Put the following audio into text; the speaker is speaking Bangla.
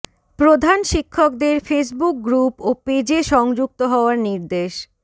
প্রধান শিক্ষকদের ফেসবুক গ্রুপ ও পেজে সংযুক্ত হওয়ার নির্দেশ